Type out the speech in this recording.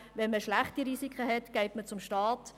Wenn man schlechte Risiken hat, geht man zum Staat.